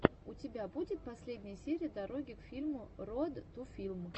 у тебя будет последняя серия дороги к фильму роад ту филм